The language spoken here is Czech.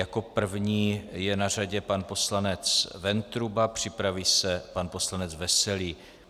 Jako první je na řadě pan poslanec Ventruba, připraví se pan poslanec Veselý.